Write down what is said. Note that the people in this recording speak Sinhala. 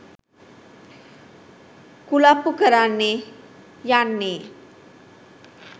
කුලප්පු කරන්නනෙ යන්නෙ.